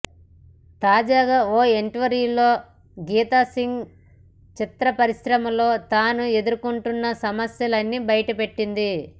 తాజాగా ఓ ఇంటర్వ్యూలో గీతా సింగ్ చిత్ర పరిశ్రమలో తాను ఎదుర్కొంటున్న సమస్యలని బయటపెట్టింది